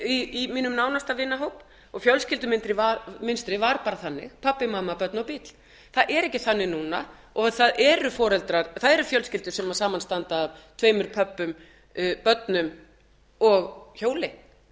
í mínum nánasta vinahóp og fjölskyldumynstrið var bara þannig pabbi mamma börn og bíll það er ekki þannig núna og það eru fjölskyldur sem samanstanda af tveimur pöbbum börnum og hjóli það